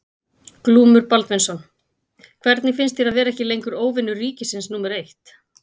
Glúmur Baldvinsson: Hvernig finnst þér að vera ekki lengur óvinur ríkisins númer eitt?